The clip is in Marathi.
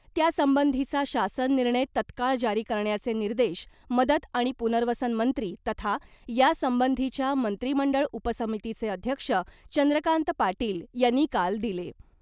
त्यासंबंधीचा शासन निर्णय तत्काळ जारी करण्याचे निर्देश मदत आणि पुनर्वसन मंत्री तथा यासंबंधीच्या मंत्रिमंडळ उपसमितीचे अध्यक्ष चंद्रकांत पाटील यांनी काल दिले .